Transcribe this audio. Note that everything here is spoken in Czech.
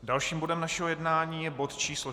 Dalším bodem našeho jednání je bod číslo